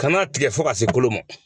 Kana tigɛ fo se kolo ma